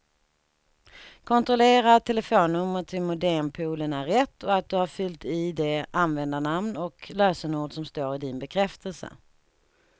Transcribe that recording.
Kontrollera att telefonnumret till modempoolen är rätt och att du har fyllt i det användarnamn och lösenord som står i din bekräftelse.